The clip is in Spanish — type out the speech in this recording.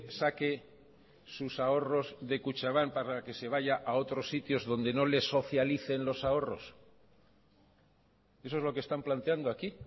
saque sus ahorros de kutxabank para que se vaya a otros sitios donde no le socialicen los ahorros eso es lo que están planteando aquí